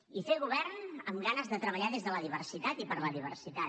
i fer govern amb ganes de treballar des de la diversitat i per la diversitat